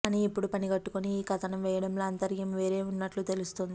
కానీ ఇప్పుడు పనిగట్టుకుని ఈ కథనం వేయడంలో ఆంతర్యం వేరే ఉన్నట్లే తెలుస్తోంది